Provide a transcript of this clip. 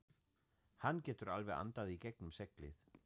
Hann getur alveg andað í gegnum seglið.